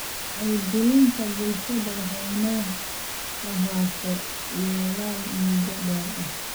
Wacyigelinta bulshada waa inay lahaato yoolal muddo dheer ah.